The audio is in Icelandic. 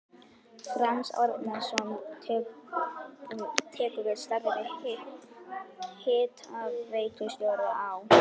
Franz Árnason tekur við starfi hitaveitustjóra á